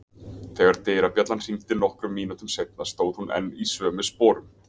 Þegar dyrabjallan hringdi nokkrum mínútum seinna stóð hún enn í sömu sporum.